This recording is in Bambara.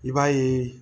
I b'a ye